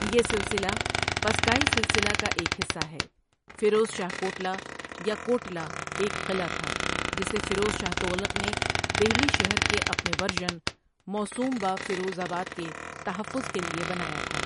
یہ سلسلہ پثکائی سلسلہ کا ایک حصہ ہے فیروز شاہ کوٹلہ یا کوٹلہ ایک قلعہ تھا جسے فیروز شاہ تغلق نے دہلی شہر کے اپنے ورژن، موسوم بہ فیروز آباد، کے تحفظ کے لیے بنایا تھا۔